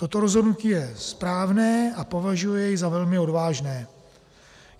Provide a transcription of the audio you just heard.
Toto rozhodnutí je správné a považuji jej za velmi odvážné.